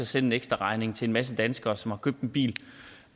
sende en ekstraregning til en masse danskere som har købt en bil